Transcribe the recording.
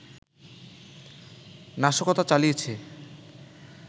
নাশকতা চালিয়েছে